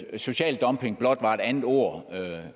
at social dumping blot er et andet ord